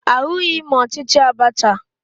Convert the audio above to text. Ahụghị m ọchịchị Abacha